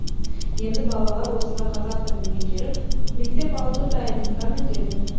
енді балалар осында қазақ тілін меңгеріп мектеп алды дайындықтан өтеді